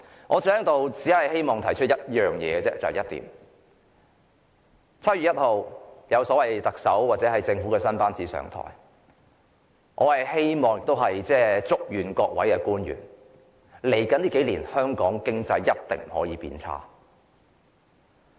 我只希望提出一點 ，7 月1日特首或政府新班子便會上台，我希望亦祝願各位官員，一定不可以讓香港經濟在未來數年變差。